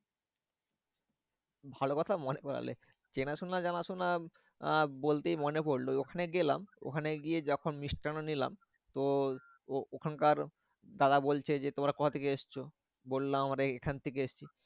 ভালোবাসা কথা মনে করালে। চেনাশোনা জানাশোনা আহ বলতেই মনে পড়লো ওখানে গেলাম। ওখানে গিয়ে যখন মিষ্টান্ন নিলাম। তো ও ওখানকার তারা বলছে যে তোমরা কোথা থেকে এসেছো? বললাম আমরা এখন থেকে এসেছি।